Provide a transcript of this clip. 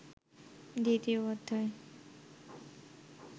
দ্বিতীয় অধ্যায়